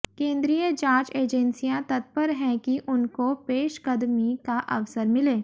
केंद्रीय जांच एजेंसियां तत्पर हैं कि उनको पेशकदमी का अवसर मिले